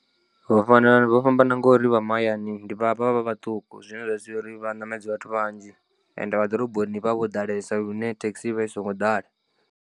Vho fanela vho fhambana ngori vha mahayani vha vha vha vhaṱuku zwine zwa sia uri vha ṋamedze vhathu vhanzhi ende vha ḓoroboni vhavha vho ḓalesa lune thekhisi i vha i songo ḓala.